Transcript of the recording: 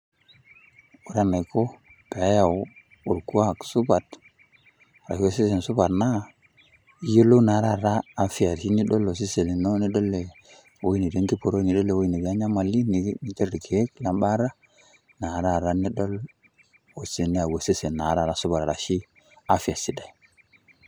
Ore enaiko pee eyau orkuak supat anashe osesen supat naa iyolou taa taata afia tenidol osesen lino, nidol ewoi natii enkiporoi ewoji nati enyamali ninter irkeek le mbaata naa taata nidol neyau osesen sidai arashe afya sidai.